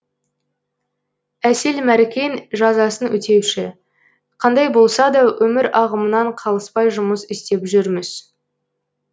әсел мәркен жазасын өтеуші қандай болса да өмір ағымынан қалыспай жұмыс істеп жүрміз